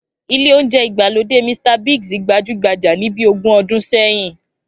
Ilé oúnjẹ ìgbàlódé Mr Biggs gbajúgbajà ní bí ogún ọdún sẹ́yìn